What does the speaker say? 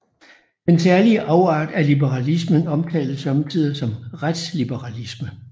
Den særlige afart af liberalismen omtales somme tider som retsliberalisme